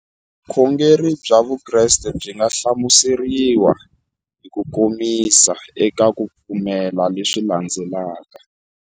Vukhongeri bya Vukreste byi nga hlamuseriwa hi kukomisa eka ku pfumela leswi landzelaka.